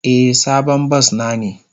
Eh, sabon bas na ne.